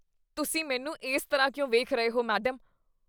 ਤੁਸੀਂ ਮੈਨੂੰ ਇਸ ਤਰ੍ਹਾਂ ਕਿਉਂ ਵੇਖ ਰਹੇ ਹੋ ਮੈਡਮ?